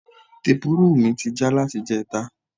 Tepurúrù mi ti já láti ìjẹta